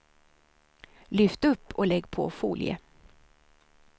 Lyft upp och lägg på folie.